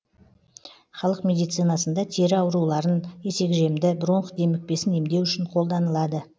халық медицинасында тері ауруларын есекжемді бронх демікпесін емдеу үшін қолданылады